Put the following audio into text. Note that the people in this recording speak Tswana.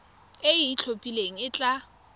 e e itlhophileng e tla